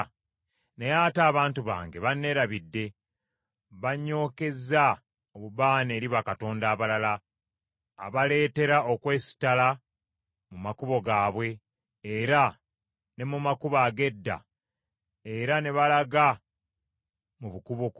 Naye ate abantu bange banneerabidde, banyookezza obubaane eri bakatonda abalala, abaleetera okwesittala mu makubo gaabwe era ne mu makubo ag’edda era ne balaga mu bukubokubo.